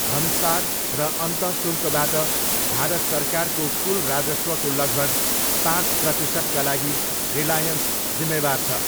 भन्सार र अन्तःशुल्कबाट भारत सरकारको कुल राजस्वको लगभग पाँच प्रतिशतका लागि रिलायन्स जिम्मेवार छ।